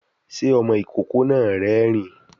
Sé ọmọ ìkókó náà rérìn-ín?